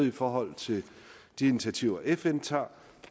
i forhold til de initiativer fn tager